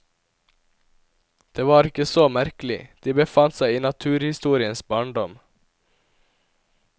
Det var ikke så merkelig, de befant seg i naturhistoriens barndom.